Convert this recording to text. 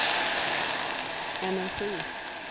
energi